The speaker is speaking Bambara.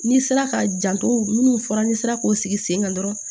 N'i sera ka janto minnu fɔra n'i sera k'o sigi sen kan dɔrɔn